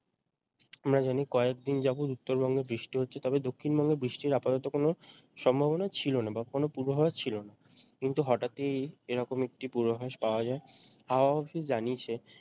আমরা জানি কয়েকদিন যাবৎ উত্তরবঙ্গে বৃষ্টি হচ্ছে তবে দক্ষিণবঙ্গে বৃষ্টির আপাতত কোনও সম্ভাবনা ছিল না বা কোনও পূর্বাভাস ছিল না কিন্তু হঠাৎই এরকম একটি পূর্বাভাস পাওয়া যায় হাওয়া office জানিয়েছে